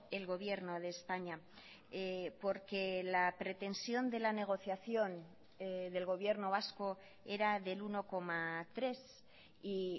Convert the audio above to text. el gobierno de españa porque la pretensión de la negociación del gobierno vasco era del uno coma tres y